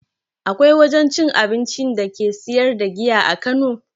Akwai wajen cin abincin da ke siyar da giya a kano?